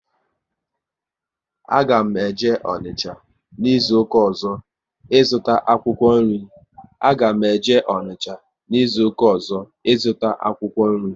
A ga m eje Onicha n'izuka ọzọ, ị zụta akwụkwọ nri